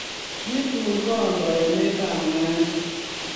Kitun kondo emetab nandi